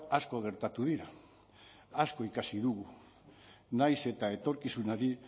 asko gertatu dira asko ikasi dugu nahiz eta etorkizunari